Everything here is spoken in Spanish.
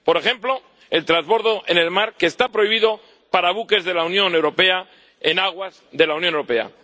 Por ejemplo, el trasbordo en el mar, que está prohibido para los buques de la Unión Europea en aguas de la Unión Europea.